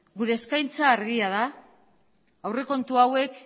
gure eskaintza argia da aurrekontu hauek